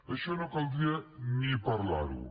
això no caldria ni parlar ho